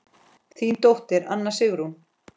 Þín dóttir, Anna Sigrún.